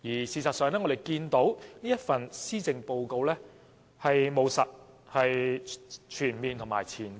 事實上，我們看到這份施政報告務實、全面而且具前瞻性。